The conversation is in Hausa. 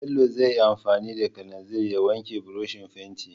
Bello zai yi anfani da kalanzir ya wanke burushin fentin.